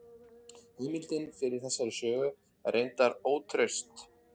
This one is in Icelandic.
Heimildin fyrir þessari sögu er reyndar ótraust.